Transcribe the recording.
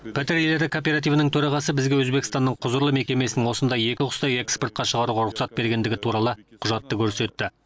пәтер иегері кооперативінің төрағасы бізге өзбекстанның құзырлы мекемесінің осындай екі құсты экспортқа шығаруға рұқсат бергендігі туралы құжатты көрсетті